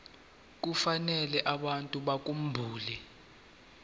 kufanele abantu bakhumbule